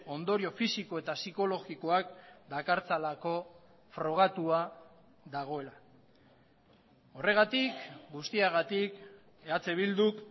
ondorio fisiko eta psikologikoak dakartzalako frogatua dagoela horregatik guztiagatik eh bilduk